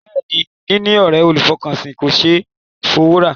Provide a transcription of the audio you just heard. Bẹ́ẹ̀ ni, níní ọ̀ré olùfọkànsìn kò ṣé é fowó rà.